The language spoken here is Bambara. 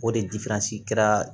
O de kɛra